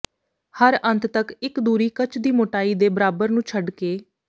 ਹਰ ਅੰਤ ਤੱਕ ਇੱਕ ਦੂਰੀ ਕੱਚ ਦੀ ਮੋਟਾਈ ਦੇ ਬਰਾਬਰ ਨੂੰ ਛੱਡ ਕੇ